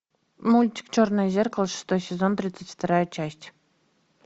мультик черное зеркало шестой сезон тридцать вторая часть